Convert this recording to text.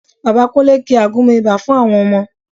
Bàbá Kúnlé ki àgúnmu ibà fún àwọn ọmọ